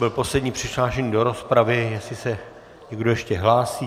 Byl poslední přihlášený do rozpravy, jestli se někdo ještě hlásí...